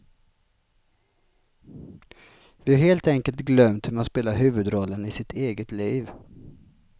Vi har helt enkelt glömt hur man spelar huvudrollen i sitt eget liv.